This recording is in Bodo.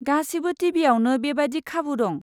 गासिबो टिभियावनो बेबादि खाबु दं।